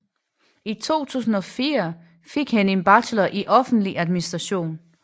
I 2004 fik han en bachelor i offentlig administration